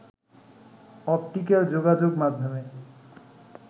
optical যোগাযোগ মাধ্যমে